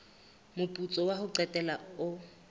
moputso wa ho qetela o